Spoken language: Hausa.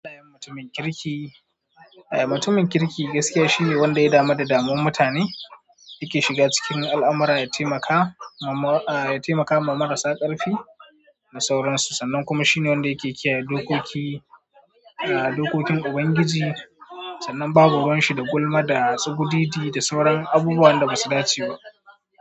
Mutumin kirki, mutumin kirki gaskiya shi ne wanda ya damu da damuwa mutane, yake shiga cikin al'amara ya taimaka ma marasa karfi da sauransu, sannan kuma shine wanda yake kiyaye dokokin Ubangiji, sannan babu ruwan shi da gulma da su gududi da sauran abubuwan da basu dace ba.